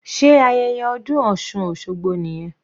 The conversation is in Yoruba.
Sé ayẹyẹ ọdún osun osogbo nìyẹn?